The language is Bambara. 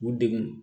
U degun